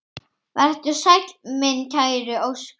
Vertu sæll, minn kæri Óskar.